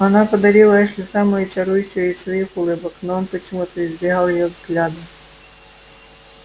она подарила эшли самую чарующую из своих улыбок но он почему-то избегал её взгляда